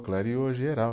Clareou geral.